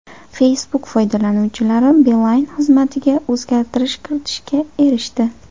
Facebook foydalanuvchilari Beeline xizmatiga o‘zgartirish kiritishga erishdi.